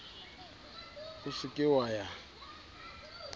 o se ke wa ya